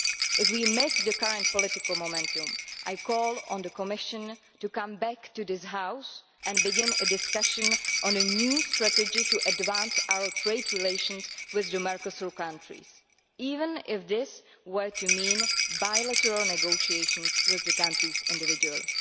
If we miss the current political momentum, I call on the Commission to come back to this House and begin a discussion on a new strategy to advance our trade relations with the Mercosur countries, even if that were to mean bilateral negotiations with those countries individually.